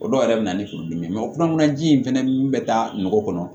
O dɔw yɛrɛ bɛ na ni furudimi ye o kulananji in fɛnɛ min bɛ taa nɔgɔ kɔnɔ